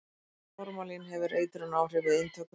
formalín hefur eitrunaráhrif við inntöku